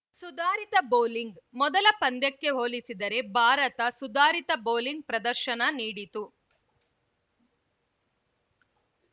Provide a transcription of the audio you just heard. ಸುಧಾರಿತ ಬೌಲಿಂಗ್‌ ಮೊದಲ ಪಂದ್ಯಕ್ಕೆ ಹೋಲಿಸಿದರೆ ಭಾರತ ಸುಧಾರಿತ ಬೌಲಿಂಗ್‌ ಪ್ರದರ್ಶನ ನೀಡಿತು